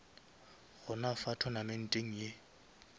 gona fa tournamenteng ye